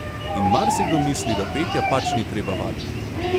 In marsikdo misli, da petja pač ni treba vaditi!